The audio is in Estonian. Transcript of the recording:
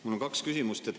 Mul on kaks küsimust.